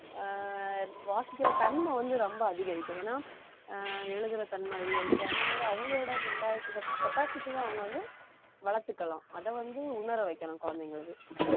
ஆஹ் வாசிக்கிற தன்மை வந்து ரொம்ப அதிகரிக்கும் ஏன்னா ஆஹ் எழுதுற தன்மை அதிகரிக்கும் அந்த மாதிரி அவங்களோட mentality capacity தான் அவங்க வந்து வளர்த்துக்கலாம் அதை வந்து உணர வைக்கணும் குழந்தைங்களுக்கு